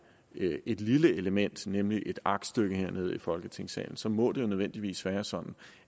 et lille element nemlig et aktstykke herned i folketingssalen så må det jo nødvendigvis være sådan